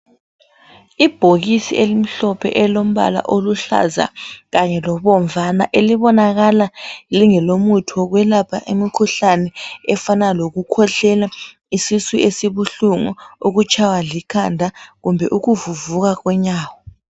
Ibhokisi elimhlophe elilombala oluhlaza kanye lobomvana elibonakala lingelomuthi wokwelapha imikhuhlane efana lokukhwehlela, isisu esibuhlungu, ukutshaywa likhanda kumbe ukuvuvuka konyawo.